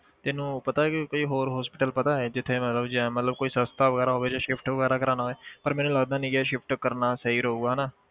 ਤੈਨੂੰ ਪਤਾ ਕਿ ਵੀ ਹੋਰ hospital ਪਤਾ ਹੈ ਜਿੱਥੇ ਮਤਲਬ ਜਿਵੇਂ ਮਤਲਬ ਕੋਈ ਸਸਤਾ ਵਗ਼ੈਰਾ ਹੋਵੇ ਜੇ shift ਵਗ਼ੈਰਾ ਕਰਵਾਉਣਾ ਹੋਏ ਪਰ ਮੈਨੂੰ ਲੱਗਦਾ ਨੀ ਕਿ shift ਕਰਨਾ ਸਹੀ ਰਹੇਗਾ ਹਨਾ।